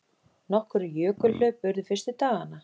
Nokkur jökulhlaup urðu fyrstu dagana.